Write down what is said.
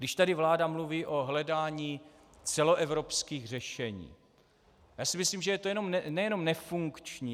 Když tady vláda mluví o hledání celoevropských řešení - já si myslím, že je to nejenom nefunkční.